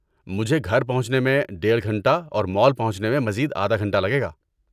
مجھے گھر پہنچنے میں ڈیڑھ گھنٹہ اور مال پہنچنے میں مزید آدھا گھنٹہ لگے گا۔